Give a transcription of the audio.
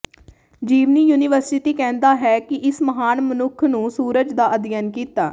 ਜੀਵਨੀ ਯੂਨੀਵਰਸਿਟੀ ਕਹਿੰਦਾ ਹੈ ਕਿ ਇਸ ਮਹਾਨ ਮਨੁੱਖ ਨੂੰ ਸੂਰਜ ਦਾ ਅਧਿਐਨ ਕੀਤਾ